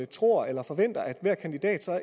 tror eller forventer at hver kandidat